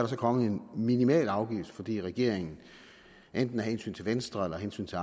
så kommet en minimal afgift fordi regeringen enten af hensyn til venstre eller hensyn til